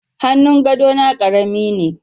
Hannun gadona karami ne